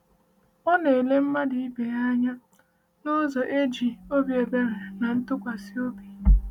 Ọ na-ele mmadụ ibe ya anya n’ụzọ e ji obi ebere na ntụkwasị obi.